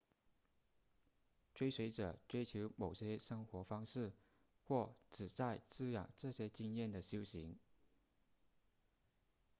追随者追求某种生活方式或旨在滋养这些经验的修行